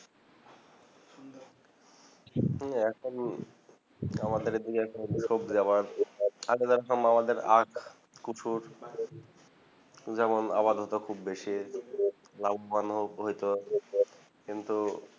উম এখন আমাদের এইদিকে মামাদের আদা কচু যেমন আবাদ হতো খুব বেশি লাভবান হতো কিন্তু